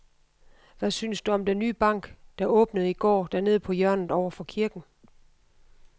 Hvad synes du om den nye bank, der åbnede i går dernede på hjørnet over for kirken?